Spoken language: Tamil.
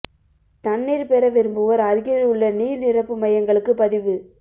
தண்ணீர் பெற விரும்புவோர் அருகில் உள்ள நீர் நிரப்பு மையங்களுக்கு பதிவு